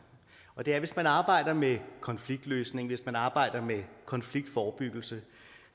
og det er at hvis man arbejder med konfliktløsning hvis man arbejder med konfliktforebyggelse